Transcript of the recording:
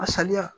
A saliya